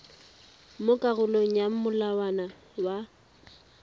mo karolong ya molawana wa